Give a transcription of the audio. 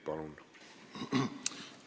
Palun!